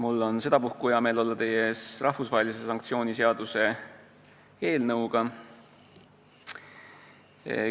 Mul on sedapuhku hea meel olla teie ees rahvusvahelise sanktsiooni seaduse eelnõuga.